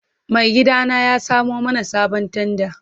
Maigidana ya samo mana sabon tanda.